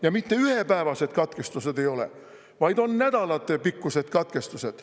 Ja mitte ühepäevased katkestused ei ole, vaid on nädalatepikkused katkestused.